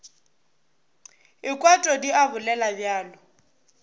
ekwa todi a bolela bjalo